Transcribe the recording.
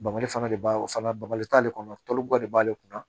Bamali fana de b'a o fana bamali t'ale kɔnɔba de b'ale kunna